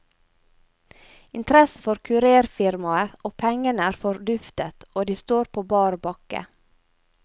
Interessen for kurérfirmaet og pengene er forduftet, og de står på bar bakke.